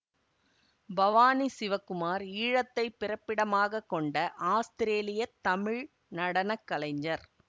பவானி சிவகுமார் ஈழத்தைப் பிறப்பிடமாக கொண்ட ஆஸ்திரேலிய தமிழ் நடன கலைஞர்